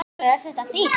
Sólveig: Er þetta dýrt?